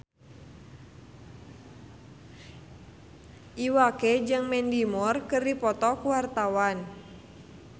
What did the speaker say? Iwa K jeung Mandy Moore keur dipoto ku wartawan